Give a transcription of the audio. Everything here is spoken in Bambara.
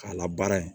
K'a labaara yen